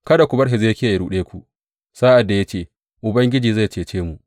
Kada ku bar Hezekiya ya ruɗe ku sa’ad da ya ce, Ubangiji zai cece mu.’